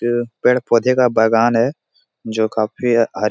ये पेड़-पौधे का बागान हैं जो काफी हरी --